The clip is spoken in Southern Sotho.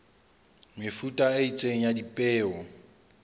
mefuta e itseng ya dipeo